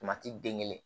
den kelen